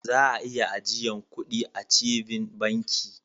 Za'a iya ajiyan kuɗi achieving banki.